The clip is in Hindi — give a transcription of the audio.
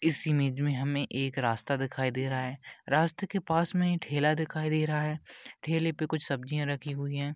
इस इमेज में हमे एक रास्ता दिखाई दे रहा है रास्ते के पास में ठेला दिखाई दे रहा है ठेलेपे कुछ सब्जीया रखी हुई है।